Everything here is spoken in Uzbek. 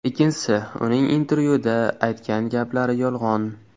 Ikkinchisi, uning intervyuda aytgan gaplari yolg‘on.